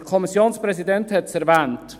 Der Kommissionspräsident hat es erwähnt.